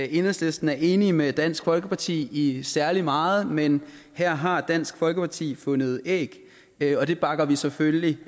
enhedslisten er enige med dansk folkeparti i særlig meget men her har dansk folkeparti fundet æg æg og det bakker vi selvfølgelig